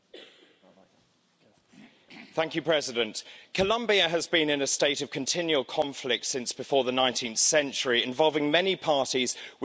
Mr President, Colombia has been in a state of continual conflict since before the 19th century, involving many parties with vested interest.